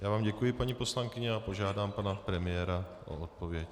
Já vám děkuji, paní poslankyně, a požádám pana premiéra o odpověď.